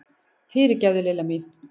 Fyrirgefðu, Lilla mín!